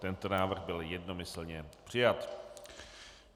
Tento návrh byl jednomyslně přijat.